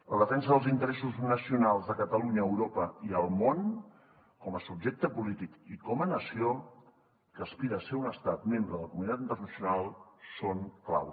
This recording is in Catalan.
la defensa dels interessos nacionals de catalunya a europa i al món com a subjecte polític i com a nació que aspira a ser un estat membre de la comunitat internacional és clau